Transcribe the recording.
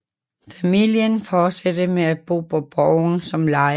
Familien fortsatte med at bo på borgen som lejere